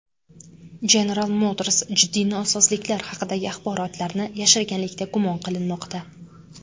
General Motors jiddiy nosozliklar haqidagi axborotlarni yashirganlikda gumon qilinmoqda.